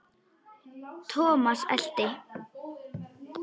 Thomas elti.